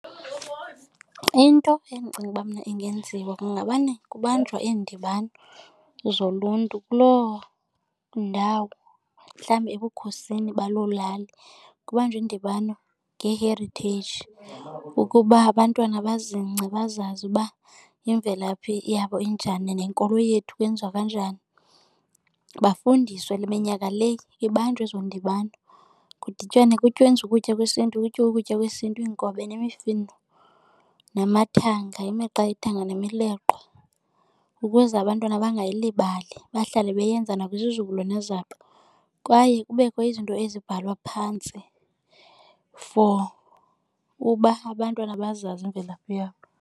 Into endicinga uba mna ingenziwa kungamane kubanjwa iindibano zoluntu kuloo ndawo, mhlawumbi ebukhosini baloo lali. Kubanjwe iindibano ngee-heritage ukuba abantwana bazingce bazazi uba imvelaphi yabo injani nenkolo yethu kwenziwa kanjani, bafundiswe minyaka le zibanjwa ezo ndibano. Kudityanwe kwenziwe ukutya kwesiNtu, kutyiwe ukutya kwesiNtu, iinkobe, nemifino namathanga, imiqa yethanga, nemileqwa ukuze abantwana bangayilibali. Bahlale beyenza nakwizizukulwana zabo kwaye kubekho izinto ezibhalwa phantsi for uba abantwana bazazi imvelaphi yabo.